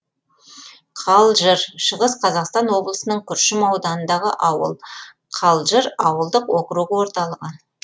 қалжыр шығыс қазақстан облысының күршім ауданындағы ауыл қалжыр ауылдық округі орталығы